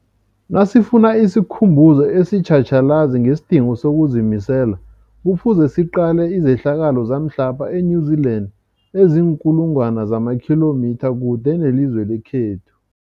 Nasifuna isikhumbuzo esitjhatjhalazi ngesidingo sokuzimisela, Kufuze siqale izehlakalo zamhlapha e-New Zealand eziinkulu ngwana zamakhilomitha kude nelizwe lekhethu.